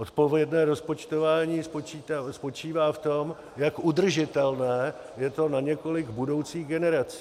Odpovědné rozpočtování spočívá v tom, jak udržitelné je to na několik budoucích generací.